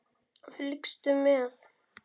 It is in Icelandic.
Fylgstu með!